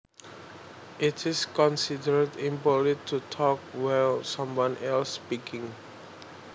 It is considered impolite to talk while someone else speaking